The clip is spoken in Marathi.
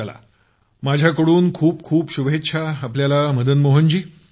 चला माझ्या खूप खूप शुभेच्छा आपल्याला मदनमोहन जी